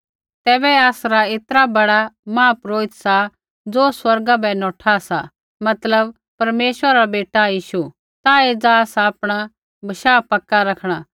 तैबै आसरा ऐतरा बड़ा महापुरोहित सा ज़ो स्वर्ग बै नौठा सा मतलब परमेश्वरा रा बेटा यीशु ता एज़ा आसा आपणा विश्वास पक्का रखणा